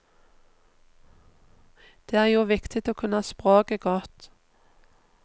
Det er jo viktig å kunne språket godt.